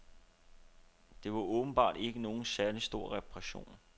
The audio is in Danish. Det var åbenbart ikke nogen særlig stor reparation.